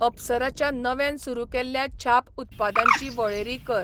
अप्सराच्या नव्यान सुरू केल्ल्या छाप उत्पादांची वळेरी कर.